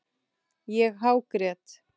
Ég hágrét.